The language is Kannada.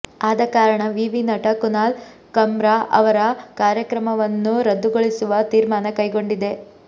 ಆದಕಾರಣ ವಿವಿ ನಟ ಕುನಾಲ್ ಕಮ್ರಾ ಅವರ ಕಾರ್ಯಕ್ರಮವನ್ನು ರದ್ದುಗೊಳಿಸುವ ತೀರ್ಮಾನ ಕೈಗೊಂಡಿದೆ